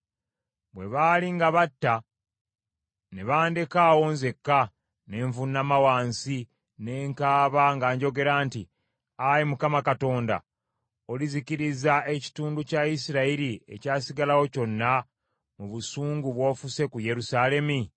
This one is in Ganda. Bwe baali nga batta ne bandeka awo nzekka, ne nvuunama wansi, ne nkaaba nga njogera nti, “Ayi Mukama Katonda, olizikiriza ekitundu kya Isirayiri ekyasigalawo kyonna mu busungu bw’ofuse ku Yerusaalemi?”